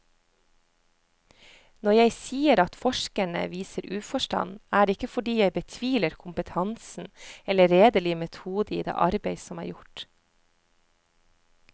Når jeg sier at forskerne viser uforstand, er det ikke fordi jeg betviler kompetansen eller redelig metode i det arbeid som er gjort.